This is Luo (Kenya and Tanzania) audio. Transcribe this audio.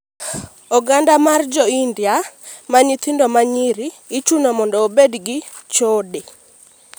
Oganda mar jo india ma nyithindo ma nyiri ichuno mondo obed jo chode